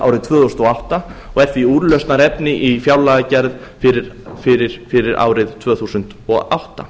árið tvö þúsund og átta og er því úrlausnarefni í fjárlagagerð fyrir árið tvö þúsund og átta